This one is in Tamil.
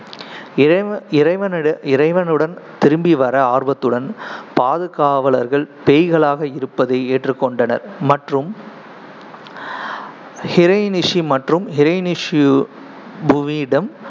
இறைவ~ இறைவனுட~ இறைவனுடன் திரும்பி வர ஆர்வத்துடன், பாதுகாவலர்கள் பேய்களாக இருப்பதை ஏற்றுக்கொண்டனர் மற்றும் ஹிரயனிஷி மற்றும்